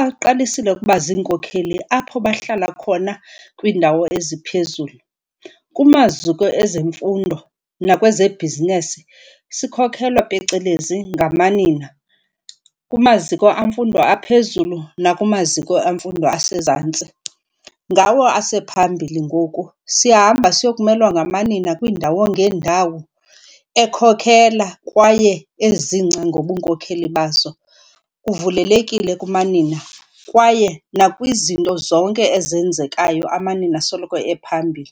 aqalisile ukuba ziinkokeli apho bahlala khona kwiindawo eziphezulu. Kumaziko ezemfundo nakwezebhizinesi, sikhokhelwa phecelezi ngamanina. Kumaziko emfundo aphezulu nakumaziko emfundo asezantsi ngawo asephambili ngoku. Siyahamba siyokumelwa ngamanqina kwiindawo ngeendawo ekhokhela kwaye ezingca ngobunkokheli bazo. Kuvulelekile kumanina kwaye nakwizinto zonke ezenzekayo, amanina asoloko ephambili.